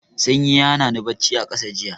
Sanyi ya hana ni bacci a ƙasa jiya.